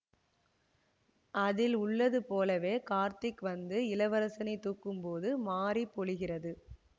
அதில் உள்ளது போலவே கார்த்திக் வந்து இளவரசனை தூக்கும் போது மாரி பொழிகிறது